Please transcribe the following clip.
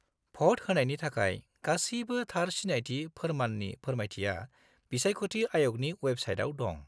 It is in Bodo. -भ'ट होनायनि थाखाय गासिबो थार सिनायथि फोरमाननि फोरमायथिया बिसायख'थि आय'गनि अवेबसाइटआव दं।